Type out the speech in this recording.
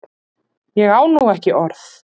Ég á nú ekki orð!